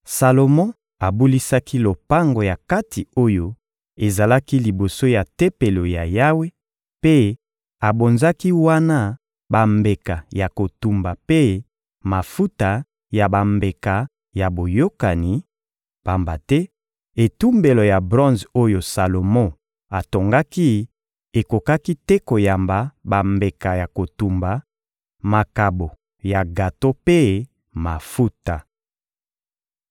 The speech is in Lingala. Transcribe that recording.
Salomo abulisaki lopango ya kati oyo ezalaki liboso ya Tempelo ya Yawe mpe abonzaki wana bambeka ya kotumba mpe mafuta ya bambeka ya boyokani; pamba te etumbelo ya bronze oyo Salomo atongaki ekokaki te koyamba bambeka ya kotumba, makabo ya gato mpe mafuta.